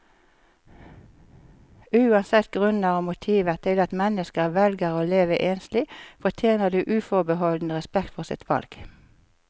Uansett grunner og motiver til at mennesker velger å leve enslig, fortjener de uforbeholden respekt for sitt valg.